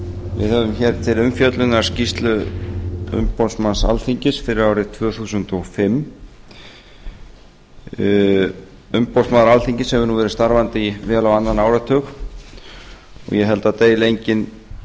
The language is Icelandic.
við höfum hér til umfjöllunar skýrslu umboðsmanns alþingis fyrir árið tvö þúsund og fimm umboðsmaður alþingis hefur nú verið starfandi í vel á annan áratug og ég held að það deili enginn